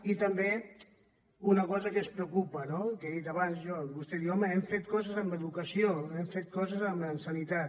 i també una cosa que ens preocupa no que he dit abans jo vostè diu home hem fet coses en educa·ció hem fet coses en sanitat